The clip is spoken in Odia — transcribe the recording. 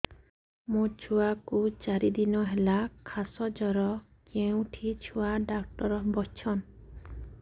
ମୋ ଛୁଆ କୁ ଚାରି ଦିନ ହେଲା ଖାସ ଜର କେଉଁଠି ଛୁଆ ଡାକ୍ତର ଵସ୍ଛନ୍